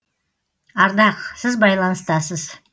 ардақ сіз байланыстасыз